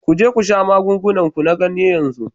Ku je ku sha magungunan ku na ganye yanzu